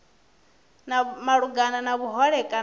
malugana na vhuhole kana u